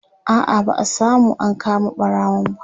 a'a ba'a samu an kama ɓarawon ba